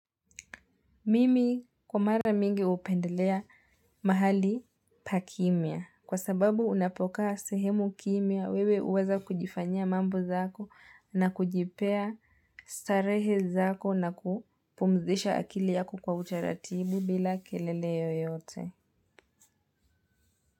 Mimi kumara mingi hupendelea mahali pa kimia kwa sababu unapokaa sehemu kimia wewe huweza kujifanyia mambo zako na kujipea starehe zako na kupumzisha akili yako kwa utaratibu bila kelele yoyote.